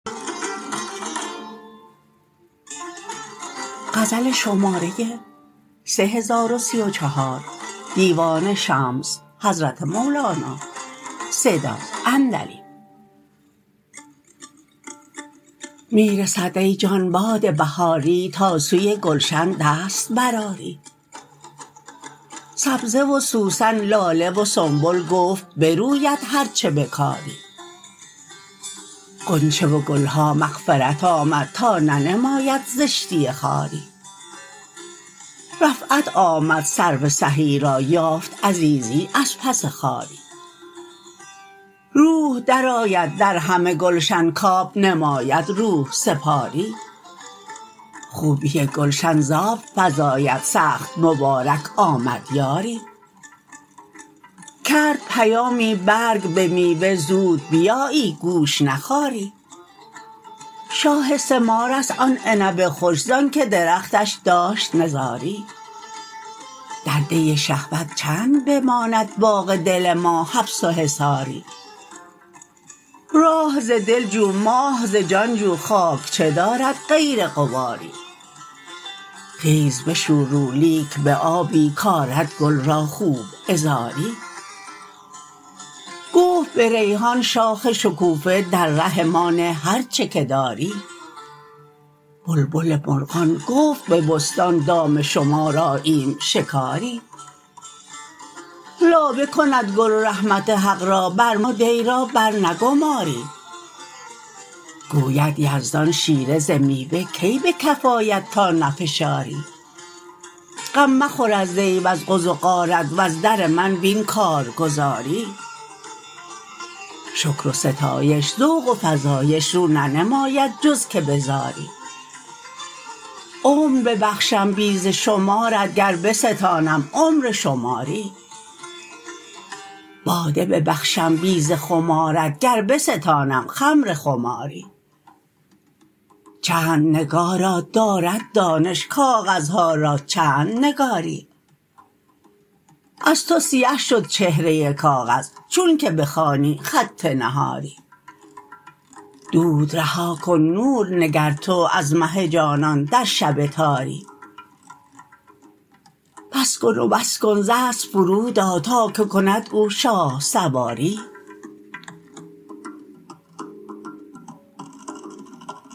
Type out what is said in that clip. می رسد ای جان باد بهاری تا سوی گلشن دست برآری سبزه و سوسن لاله و سنبل گفت بروید هر چه بکاری غنچه و گل ها مغفرت آمد تا ننماید زشتی خاری رفعت آمد سرو سهی را یافت عزیزی از پس خواری روح درآید در همه گلشن کب نماید روح سپاری خوبی گلشن ز آب فزاید سخت مبارک آمد یاری کرد پیامی برگ به میوه زود بیایی گوش نخاری شاه ثمارست آن عنب خوش زانک درختش داشت نزاری در دی شهوت چند بماند باغ دل ما حبس و حصاری راه ز دل جو ماه ز جان جو خاک چه دارد غیر غباری خیز بشو رو لیک به آبی کرد گل را خوب عذاری گفت به ریحان شاخ شکوفه در ره ما نه هر چه که داری بلبل مرغان گفت به بستان دام شما راییم شکاری لابه کند گل رحمت حق را بر ما دی را برنگماری گوید یزدان شیره ز میوه کی به کف آید تا نفشاری غم مخور از دی وز غز و غارت وز در من بین کارگزاری شکر و ستایش ذوق و فزایش رو ننماید جز که به زاری عمر ببخشم بی ز شمارت گر بستانم عمر شماری باده ببخشم بی ز خمارت گر بستانم خمر خماری چند نگاران دارد دانش کاغذها را چند نگاری از تو سیه شد چهره کاغذ چونک بخوانی خط نهاری دود رها کن نور نگر تو از مه جانان در شب تاری بس کن و بس کن ز اسب فرود آ تا که کند او شاه سواری